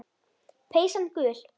Peysan gul.